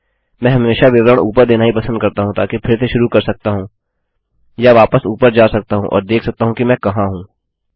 मैं हमेशा विवरण ऊपर देना ही पसंद करता हूँ ताकि फिर से शुरू कर सकता हूँ या वापस ऊपर जा सकता हूँ और देख सकता हूँ कि मैं कहाँ हूँ